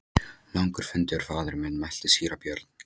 Langur fundur faðir minn, mælti síra Björn.